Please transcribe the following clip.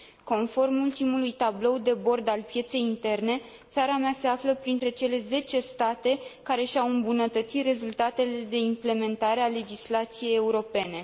Conform ultimului tablou de bord al pieței interne, țara mea se află printre cele zece state care și au îmbunătățit rezultatele în ceea ce privește implementarea legislației europene.